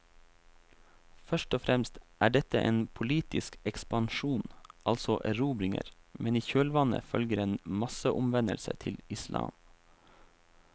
Først og fremst er dette en politisk ekspansjon, altså erobringer, men i kjølvannet følger en masseomvendelse til islam.